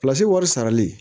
wari sarali